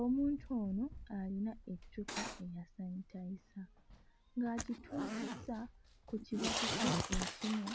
Omuntu ono alina eccupa eya sanitayiza ng'agituuzizza ku kibatu kye ekimu